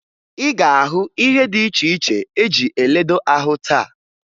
Ị ga-ahụ ihe dị iche iche eji eledo ahụ taa